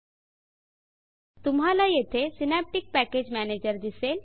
तुम्हाला येथे synaptic package Managerसिनॅप्टिक पॅकेज मॅनेजर दिसेल